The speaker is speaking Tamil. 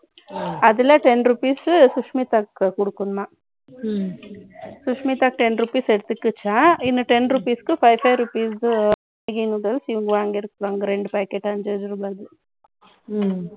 அதுல ten rupees சுஷ்மிதாக்கு கொடுக்கணுமாம். ம்ம். சுஷ்மிதாக்கு ரெண்டு rupees எடுத்துக்கிச்சாம். இன்னும் ten rupeesக்கு five rupees இவங்க வாங்கி இருப்பாங்க. இரண்டு packet ஐந்து ரூபாய்க்கு